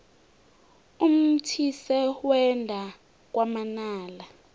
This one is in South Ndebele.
umthise wenda kwamanala